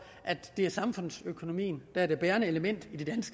at det er samfundsøkonomien der er det bærende element i det